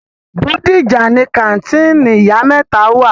Bódìjà ni kàńtìnì ìyá mẹ́ta wà.